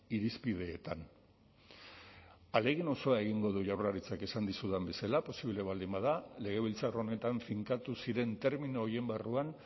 irizpideetan ahalegin osoa egingo du jaurlaritzak esan dizudan bezala posible baldin bada legebiltzar honetan finkatu ziren termino horien barruan